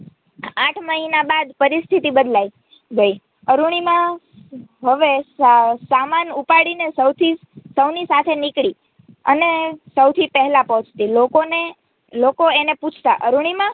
આઠ મહિના બાદ પરિસ્થિતિ બદલાઈ ગઈ અરૂણિમા હવે સમાન ઉપાડીને સૌની સાથે નીકળી અને સૌથી પહેલા પહોંચતી લોકો એને પૂછતાં અરૂણિમા